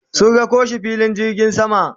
sun rako shi filin jirgin sama